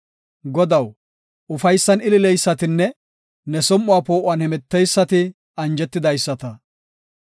Godaw, ufaysan ilileysatnne ne som7uwa poo7uwan hemeteysati anjetidaysata.